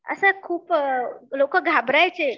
असे खूप लोकं घाबरायचे